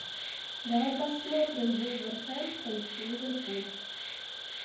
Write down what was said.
давай посмотрим вулверхэмптон ливерпуль